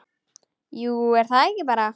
Jú, er það ekki bara?